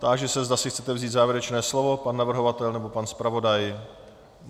Táži se, zda si chcete vzít závěrečné slovo: pan navrhovatel nebo pan zpravodaj.